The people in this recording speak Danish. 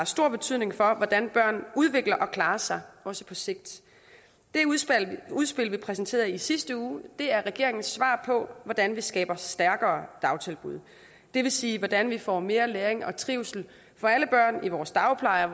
stor betydning for hvordan børn udvikler og klarer sig også på sigt det udspil vi præsenterede i sidste uge er regeringens svar på hvordan vi skaber stærkere dagtilbud det vil sige hvordan vi får mere læring og trivsel for alle børn i vores dagpleje